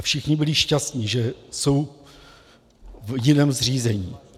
A všichni byli šťastní, že jsou v jiném zřízení.